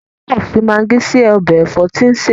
Kọ́lápọ̀ fi magí sí ọbẹ̀ ẹ̀fọ́ tí ń sè.